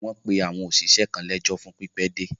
Wọ́n pe àwọn òṣìṣẹ́ kan lẹ́jọ́ fún pípẹ́ dé.